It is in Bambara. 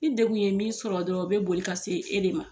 Ni deun ye min sɔrɔ dɔrɔn u be boli ka sin e de ma